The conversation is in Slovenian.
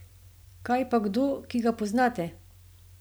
Kaj pa kdo, ki ga poznate?